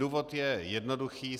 Důvod je jednoduchý.